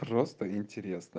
просто интересно